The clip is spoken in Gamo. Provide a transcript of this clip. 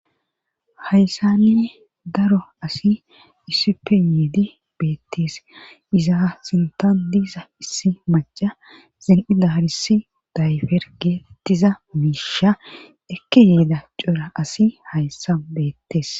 hayssanni daro asi issippe yiidi beettees iza sintan diiza issi maca zen'i darissi dayfer geetettiza miisha ekke yeeda cora asi hayssa beettees.